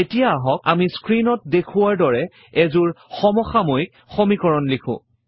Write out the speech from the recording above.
এতিয়া আহক আমি স্ক্ৰীণত দেখুওৱাৰ দৰে এযোৰ সমসাময়িক সমীকৰণ লিখো